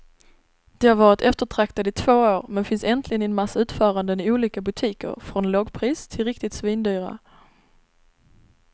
De har varit eftertraktade i två år, men finns äntligen i en massa utföranden i olika butiker från lågpris till riktigt svindyra.